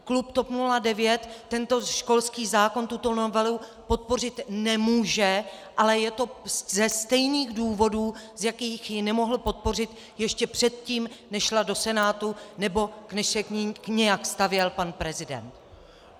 Klub TOP 09 tento školský zákon, tuto novelu, podpořit nemůže, ale je to ze stejných důvodů, z jakých ji nemohl podpořit ještě předtím, než šla do Senátu nebo než se k ní nějak stavěl pan prezident.